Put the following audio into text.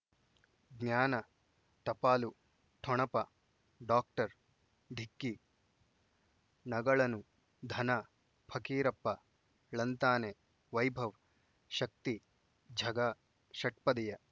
ಜ್ಞಾನ ಟಪಾಲು ಠೊಣಪ ಡಾಕ್ಟರ್ ಢಿಕ್ಕಿ ಣಗಳನು ಧನ ಫಕೀರಪ್ಪ ಳಂತಾನೆ ವೈಭವ್ ಶಕ್ತಿ ಝಗಾ ಷಟ್ಪದಿಯ